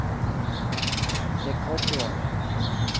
rekordår